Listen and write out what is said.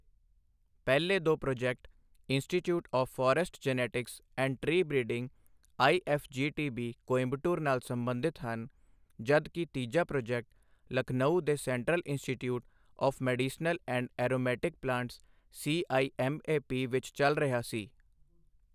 ਪਹਿਲੇ ਦੋ project institute of forest genetics and tree breeding IFGTB., Coimbatore ਨਾਲ ਸੰਬੰਧਿਤ ਹਨ ਜਦ ਕਿ ਤੀਜਾ ਪ੍ਰਾਜੈਕਟ ਲਖਨਊ ਦੇ central institute of medicinal and aromatic plants CIMAP. ਵਿੱਚ ਚਲ ਰਿਹਾ ਸੀ।